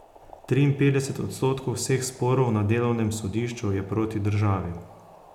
Triinpetdeset odstotkov vseh sporov na delovnem sodišču je proti državi.